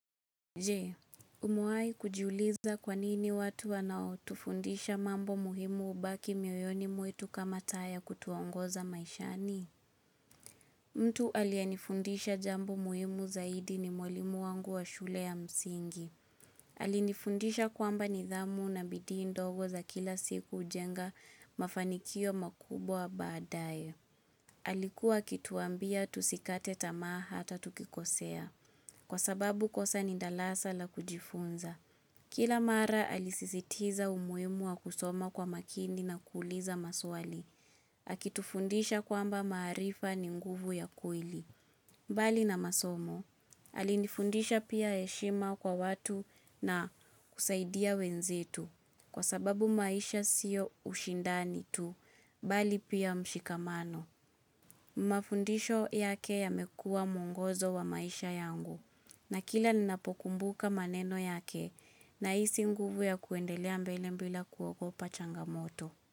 Je, umewahi kujiuliza kwanini watu wanao tufundisha mambo muhimu ubaki mioyoni mwetu kama taa ya kutuongoza maishani? Mtu alianifundisha jambo muhimu zaidi ni mwalimu wangu wa shule ya msingi. Alinifundisha kwamba nidhamu na bidii ndogo za kila siku ujenga mafanikio makubwa baadae. Alikuwa akituambia tusikate tamaa hata tukikosea. Kwa sababu kosa ni ndarasa la kujifunza. Kila mara alisisitiza umuhimu wa kusoma kwa makini na kuuliza maswali. Akitufundisha kwamba maarifa ni nguvu ya kweli. Mbali na masomo. Alinifundisha pia heshima kwa watu na kusaidia wenzetu. Kwa sababu maisha siyo ushindani tu. Mbali pia mshikamano. Mafundisho yake yamekuwa mungozo wa maisha yangu. Na kila ninapokumbuka maneno yake. Na hisi nguvu ya kuendelea mbele bila kuogopa changamoto.